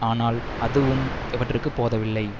ஆனால் இதுவும் அவற்றிற்கு போதவில்லை